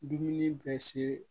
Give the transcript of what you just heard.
Dumuni bɛ se